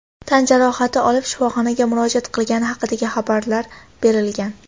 tan jarohati olib shifoxonaga murojaat qilgani haqida xabarlar berilgan.